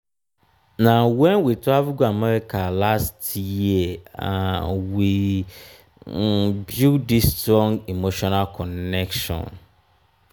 na wen we travel go america last year um we um build dis strong emotional connection.